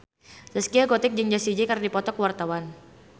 Zaskia Gotik jeung Jessie J keur dipoto ku wartawan